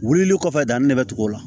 Wulili kɔfɛ danni de bɛ tugu o la